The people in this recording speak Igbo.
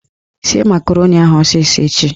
Sie makaroni ahụ ọsịsọ echi!